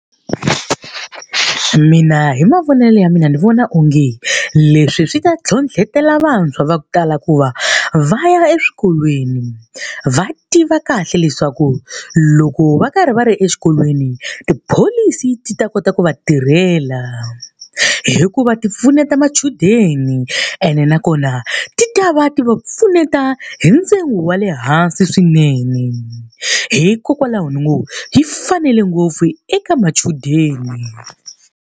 Mina hi mavonele ya mina ni vona onge leswi swi ta ntlhontlhetela vantshwa va ku tala ku va va ya eswikolweni. Va tiva kahle leswaku loko va karhi va ri exikolweni, tipholisi ti ta kota ku va tirhela. Hikuva ti pfuneta machudeni, ene nakona ti ta va ti va pfuneta hi ntsengo wa le hansi swinene. Hikokwalaho ni ngo yi fanele ngopfu eka machudeni.